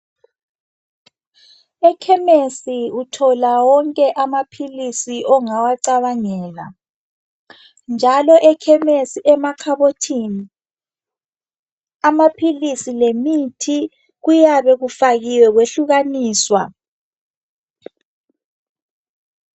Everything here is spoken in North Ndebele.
Ekhemisi uthola wonke amaphilisi ongawacabangela njalo ekhemisi emakhabothini amaphilisi lemithi kuyabe kufakiwe kwehlukaniswa.